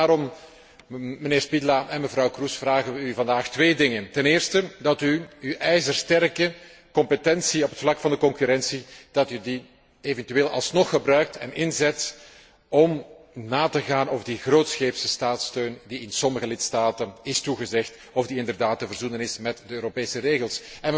Daarom, mijnheer Špidla en mevrouw Kroes, vragen we u vandaag twee dingen ten eerste, dat u uw ijzersterke competentie op het vlak van de concurrentie eventueel alsnog gebruikt en inzet om na te gaan of die grootscheepse staatssteun die in sommige lidstaten is toegezegd, inderdaad te verzoenen is met de Europese regels.